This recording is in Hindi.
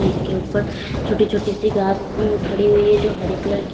इसके ऊपर छोटी छोटी सी घास उ खड़ी हुई है जो हरे कलर की--